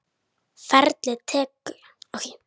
Ferlið allt tekur mörg ár.